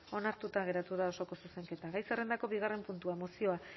onartuta geratu da osoko zuzenketa gai zerrendako bigarren puntua mozioa